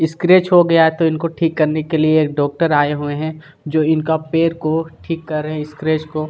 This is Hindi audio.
स्क्रेच हो गया है तो इनको ठीक करने के लिए एक डाक्टर आये हुए है जो इनका पैर को ठीक कर रहे है स्क्रेच को--